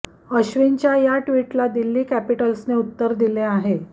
अश्विनच्या या ट्विटला दिल्ली कॅपिटल्सने उत्तर दिले आहे